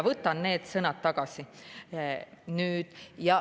Võtan need sõnad tagasi.